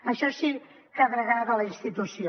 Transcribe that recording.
això sí que degrada la institució